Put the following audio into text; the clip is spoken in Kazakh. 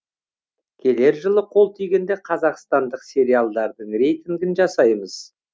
келер жылы қол тигенде қазақстандық сериалдардың рейтингін жасаймыз